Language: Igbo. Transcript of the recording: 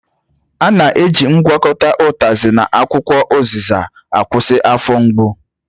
A na-eji ngwakọta utazi na akwukwo uziza akwụsị afọ mgbu